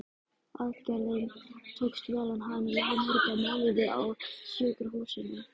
Aðgerðin tókst vel, en hann lá marga mánuði á sjúkrahúsinu.